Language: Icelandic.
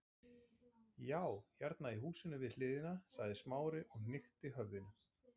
Já, hérna í húsinu við hliðina- sagði Smári og hnykkti höfðinu.